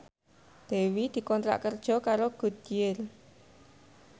Dewi dikontrak kerja karo Goodyear